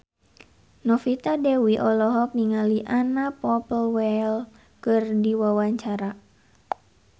Novita Dewi olohok ningali Anna Popplewell keur diwawancara